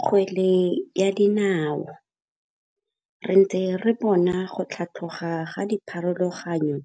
Kgwele ya dinao. Re ntse re bona go tlhatlhoga ga dipharologanyo